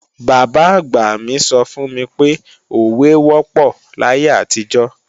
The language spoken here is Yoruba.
Bàbá-àgbà mi sọ fún mi pé, òwe wọ́pọ̀ láyé àtijọ́